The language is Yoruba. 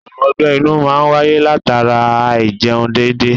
Àrùn ogbe-inú máa ń wáyé latara Áì-jẹun dédé.